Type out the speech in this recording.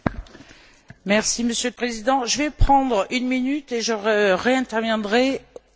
Monsieur le Président, je vais prendre une minute et je réinterviendrai une minute après.